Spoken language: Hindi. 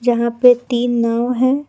यहां पे तीन नाव हैं।